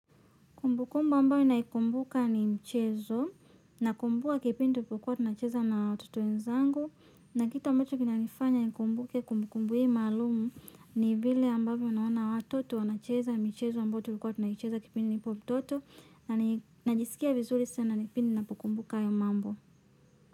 Kumbu kumbu ambayo naikumbuka ni mchezo, na kumbua kipindi tulikuwa tunacheza na watoto wenzangu. Na kitu ambacho kina nifanya nikumbuke kumbu kumbu hii maalumu ni vile ambavyo naona watoto wanacheza michezo ambayo tulikuwa tunacheza kipindi nilipo mtoto. Na najisikia vizuri sana kipindi ninapo kumbuka hayo mambo.